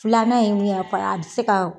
Filan ye mun ye a fɔ a ye a bi se ka